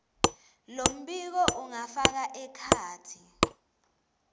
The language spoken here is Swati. lombiko ungafaka ekhatsi